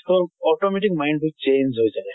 তʼ automatic mind বোৰ change হৈ যায়।